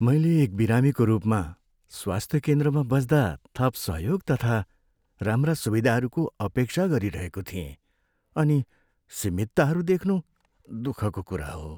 मैले एक बिरामीको रूपमा, स्वास्थ्य केन्द्रमा बस्दा थप सहयोग तथा राम्रा सुविधाहरूको अपेक्षा गरिरहेको थिएँ, अनि सीमितताहरू देख्नु दुःखको कुरा हो।